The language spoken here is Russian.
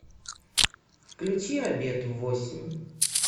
включи обед в восемь